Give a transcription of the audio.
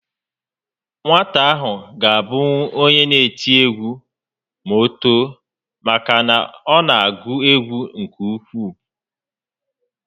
Nwata a ga abụnwu onye n'eti egwu ma o too maka na ọ na agụ egwu nke ukwuu